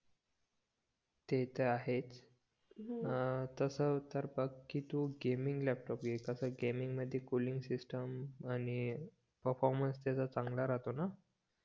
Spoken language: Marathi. ते त आहेच अं तस तर बघ कि तू लॅपटॉप घे कस गेमिंग मध्ये कूलिंग सिस्टिम आणि परफॉर्मन्स त्याचा चांगला राहतो न